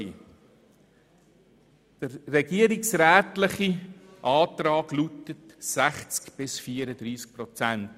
Der regierungsrätliche Antrag lautet: 60 bis 34 Prozent.